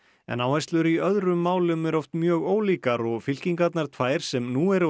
en áherslur í öðrum málum eru oft mjög ólíkar og fylkingarnar tvær sem nú eru á